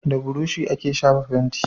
Da burushi ake shafa fenti